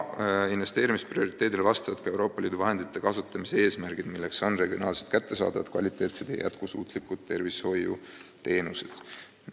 Investeerimisprioriteedile vastab ka Euroopa Liidu vahendite kasutamise eesmärk, milleks on regionaalselt kättesaadavad kvaliteetsed ja jätkusuutlikud tervishoiuteenused.